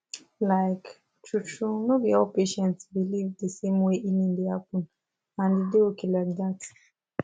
like truetrue no be all patients believe the same way healing dey happen and e dey okay like that